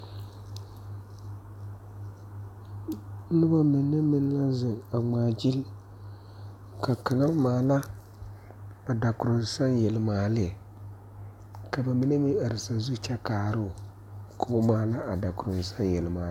Nobɔ mine meŋ ka zeŋ a ngmaara ka kaŋa maala ba dakoroŋsaŋ yelimaalee ka ba mine meŋ are sazu kyɛ kaara koo maala a dakoroŋsaŋ yelimaalee.